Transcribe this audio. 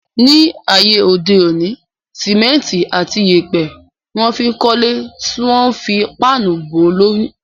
Ní ayé òde òní, símẹ́ntì àti yèèpẹ̀ ni wọ́n fí ń kọ́le tí wọ́n a fi páànù bò ó lórí